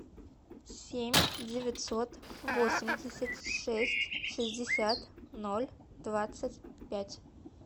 семь девятьсот восемьдесят шесть шестьдесят ноль двадцать пять